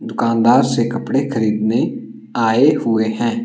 दुकानदार से कपड़े खरीदने आए हुए हैं।